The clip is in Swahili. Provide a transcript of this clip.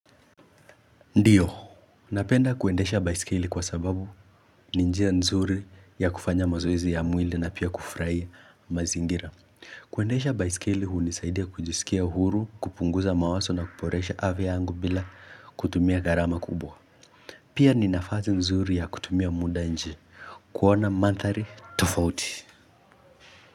Ndiyo, unapenda kuendesha baisikeli kwa sababu ni njia nzuri ya kufanya mazoezi ya mwili na pia kufurahia mazingira. Kuendesha baisekili hunisaidia kujisikia huru, kupunguza mawaso na kuporesha ave yangu bila kutumia garama kubwa. Pia ninafasi nzuri ya kutumia muda nje, kuona manthari tofauti.